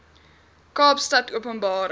kaapstadopenbare